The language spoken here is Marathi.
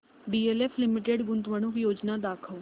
डीएलएफ लिमिटेड गुंतवणूक योजना दाखव